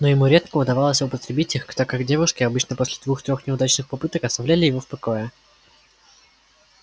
но ему редко удавалось употребить их так как девушки обычно после двух-трех неудачных попыток оставляли его в покое